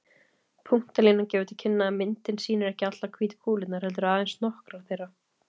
Punktalínan gefur til kynna að myndin sýnir ekki allar hvítu kúlurnar, heldur aðeins nokkrar þeirra.